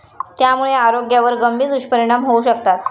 त्यामुळे आरोग्यावर गंभीर दुष्परिणाम होऊ शकतात.